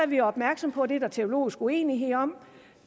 vi er opmærksom på at det er der teologisk uenighed om